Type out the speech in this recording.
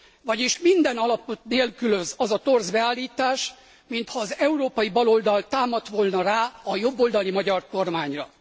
vagyis minden alapot nélkülöz az a torz beállítás, mintha az európai baloldal támadt volna rá a jobboldali magyar kormányra.